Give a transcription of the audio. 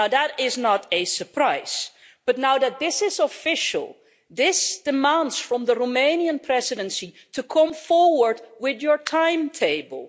Now that is not a surprise, but now that this is official, this demands that the Romanian Presidency come forward with its timetable.